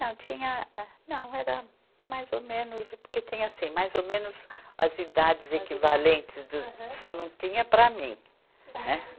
Não, tinha, ah, não, era mais ou menos, porque tinha assim, mais ou menos as idades equivalentes, do, só não tinha para mim, né?